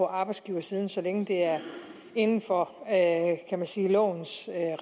arbejdsgiverside så længe det er inden for kan man sige lovens